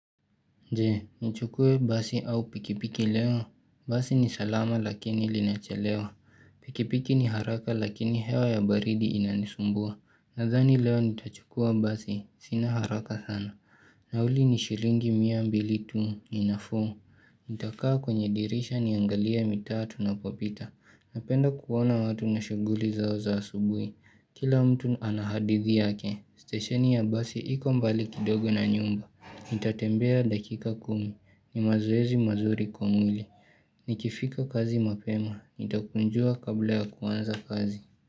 Je, nichukue basi au pikipiki leo. Basi ni salama lakini linachelewa. Pikipiki ni haraka lakini hewa ya baridi inanisumbua. Nathani leo nitachukua basi. Sina haraka sana. Nauli ni shilingi mia mbili tu ni nafuu. Nitakaa kwenye dirisha niangalie mitaa tunapopita. Napenda kuona watu na shughuli zao za asubuhi. Kila mtu ana hadithi yake. Stesheni ya basi iko mbali kidogo na nyumba. Nitatembea dakika kumi. Ni mazoezi mazuri kwa mwili Nikifika kazi mapema. Nitakunjua kabla ya kuanza kazi.